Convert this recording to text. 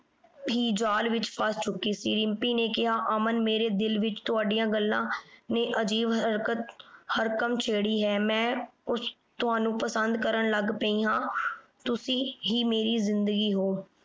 ਹੀ ਜਾਲ ਵਿਚ ਫਸ ਚੁੱਕੀ ਸੀ। ਰਿੰਪੀ ਨੇ ਕਿਹਾ ਅਮਨ ਮੇਰੇ ਦਿਲ ਵਿਚ ਤੁਹਾਡੀਆਂ ਗੱਲਾਂ ਨੇ ਅਜੀਬ ਹਰਕਤ ਹਰਕਮ ਛੇੜੀ ਹੈ। ਮੈਂ ਕੁਛ ਤੁਹਾਨੂੰ ਪਸੰਦ ਕਰਨ ਲੱਗ ਪਈ ਹਾਂ ਤੁਸੀਂ ਹੀ ਮੇਰੀ ਜਿੰਦਗੀ ਹੋ